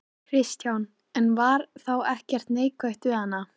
Kristján: En var þá ekkert neikvætt við hana?